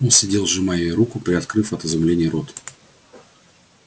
он сидел сжимая её руку приоткрыв от изумления рот